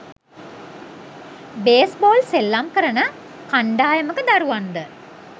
base ball සෙල්ලම් කරන කණ්ඩායමක දරුවන්ද